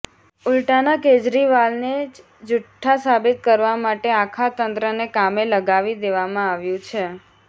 ઉલ્ટાના કેજરીવાલને જ ઝૂઠ્ઠા સાબિત કરવા માટે આખા તંત્રને કામે લગાવી દેવામાં આવ્યું છે